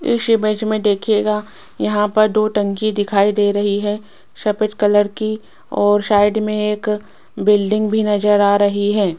इस ईमेज में देखिएगा यहां पर दो टंकी दिखाई दे रही है सफेद कलर कि और साइड में एक बिल्डिंग भी नजर आ रही है।